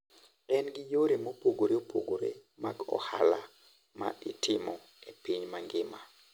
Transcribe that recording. En gi yore mopogore opogore mag ohala ma itimo e piny mangima.